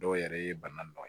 Dɔw yɛrɛ ye bana nɔgɔ ye